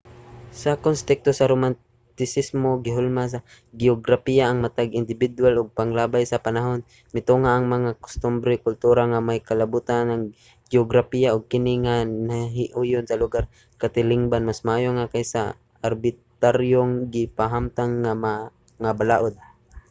sa konteksto sa romantisismo gihulma sa geograpiya ang matag indibidwal ug paglabay sa panahon mitungha ang mga kustombre ug kultura nga may kalabutan ana nga geograpiya ug kini nga nahiuyon sa lugar sa katilingban mas maayo pa kaysa sa arbitraryong gipahamtang nga mga balaod